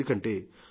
ఎందుకంటే